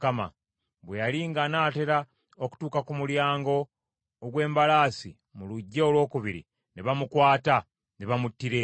Bwe yali ng’anaatera okutuuka ku mulyango ogw’embalaasi mu luggya olwokubiri, ne bamukwata ne bamuttira eyo.